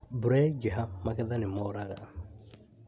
Mbura yaingĩha , magetha nĩmoraga